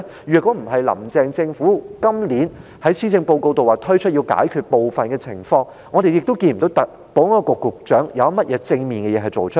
若非林鄭政府今年在施政報告中提出要解決部分情況，我們也不會看到保安局局長有甚麼正面的事情做出來。